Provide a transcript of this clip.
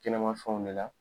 Kɛnɛma fɛnw de la